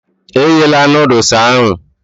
E ghela nodules ahụ